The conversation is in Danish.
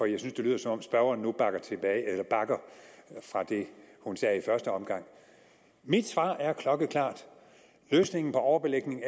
jeg synes det lyder som om spørgeren nu bakker fra det hun sagde i første omgang mit svar er klokkeklart at løsningen på overbelægning